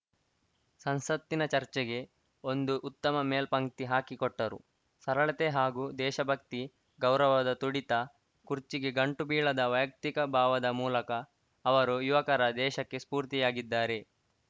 ಸಂಸತ್ತಿನ ಚರ್ಚೆಗೆ ಒಂದು ಉತ್ತಮ ಮೇಲ್ಪಂಕ್ತಿ ಹಾಕಿಕೊಟ್ಟರು ಸರಳತೆ ಹಾಗೂ ದೇಶಭಕ್ತಿ ಗೌರವದ ತುಡಿತ ಕುರ್ಚಿಗೆ ಗಂಟುಬೀಳದ ವೈಯಕ್ತಿಕ ಭಾವದ ಮೂಲಕ ಅವರು ಯುವಕರ ದೇಶಕ್ಕೆ ಸ್ಪೂರ್ತಿಯಾಗಿದ್ದಾರೆ